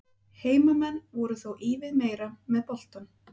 Heimamenn voru þó ívið meira með boltann.